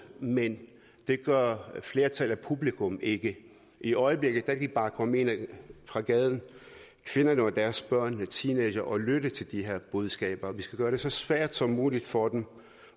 men det gør flertallet af publikum ikke i øjeblikket kan de bare komme ind fra gaden kvinderne og deres børn teenagere og lytte til de her budskaber vi skal gøre det så svært som muligt for dem